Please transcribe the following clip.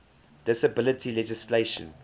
disability legislation